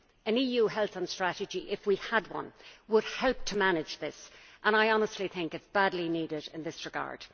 An EU health strategy, if we had one, would help to manage this and I honestly think it is badly needed in this regard.